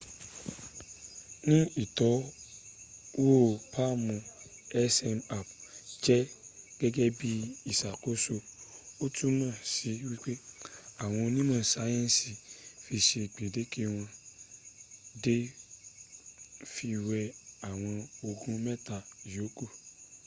ní ìtọ́wò palm zmapp jẹ́ gẹ́gẹ́ bí ìṣàkóso o túmọ̀ si wípé àwọn onímọ̀ sayensi fi ṣe gbendeke wọ́n dẹ̀ fi wé àwọn ogun mẹ́ta ìyóku